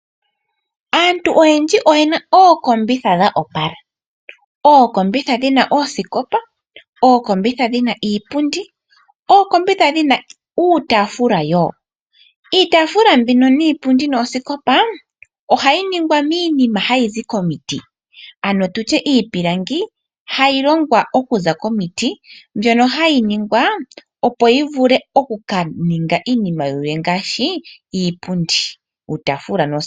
Aantu oywndji oyena ookombitha dha opala, ookombitha dhina oosikopa. Ookombitha dhina iipundi, ookombitha dhina uutafula wo. Iitafula mbino niipundi noosikopa ohayi ningwa miinima hayi zi komiti, ano tutye iipilangi hayi longwa okuza komiti mbyono hayi ningwa opo yi vule oku ka ninga iinima yilwe ngaashi iipundi nuutafula.